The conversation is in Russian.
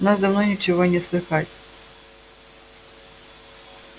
у нас давно ничего не слыхать